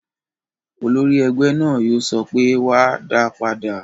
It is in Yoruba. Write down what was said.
Olórí ẹgbẹ́ náà yóò sọ pé "wá, dáa padà!"